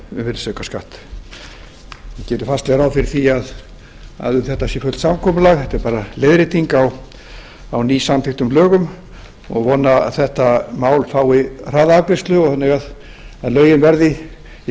virðisaukaskatt ég geri fastlega ráð fyrir því að um þetta sé fullt samkomulag þetta er bara leiðrétting á nýsamþykktum lögum og ég vona að þetta mál fái hraða afgreiðslu þannig að lögin veðri í